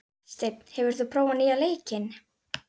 Steinn, hefur þú prófað nýja leikinn?